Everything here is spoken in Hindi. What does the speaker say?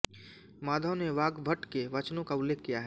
माधव ने वाग्भट के वचनों का उल्लेख किया है